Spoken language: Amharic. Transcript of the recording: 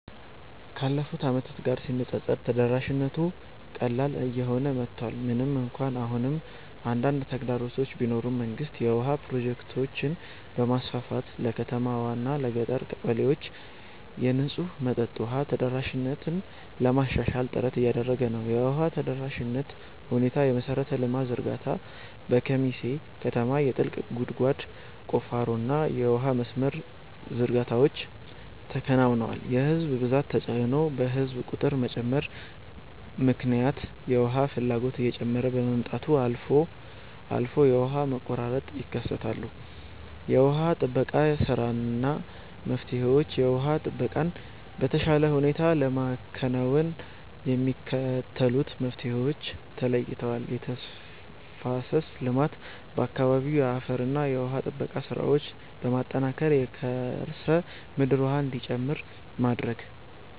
ካለፉት ዓመታት ጋር ሲነፃፀር ተደራሽነቱ ቀላል እየሆነ መጥቷል። ምንም እንኳን አሁንም አንዳንድ ተግዳሮቶች ቢኖሩም፣ መንግስት የውሃ ፕሮጀክቶችን በማስፋፋት ለከተማዋና ለገጠር ቀበሌዎች የንጹህ መጠጥ ውሃ ተደራሽነትን ለማሻሻል ጥረት እያደረገ ነው። የውሃ ተደራሽነት ሁኔታየመሠረተ ልማት ዝርጋታ፦ በኬሚሴ ከተማ የጥልቅ ጉድጓድ ቁፋሮና የውሃ መስመር ዝርጋታዎች ተከናውነዋል። የሕዝብ ብዛት ተጽዕኖ፦ በሕዝብ ቁጥር መጨመር ምክንያት የውሃ ፍላጎት እየጨመረ በመምጣቱ አልፎ አልፎ የውሃ መቆራረጦች ይከሰታሉ። የውሃ ጥበቃ ሥራና መፍትሄዎችየውሃ ጥበቃን በተሻለ ሁኔታ ለማከናወን የሚከተሉት መፍትሄዎች ተለይተዋል፦ የተፋሰስ ልማት፦ በአካባቢው የአፈርና ውሃ ጥበቃ ሥራዎችን በማጠናከር የከርሰ ምድር ውሃ እንዲጨምር ማድረግ።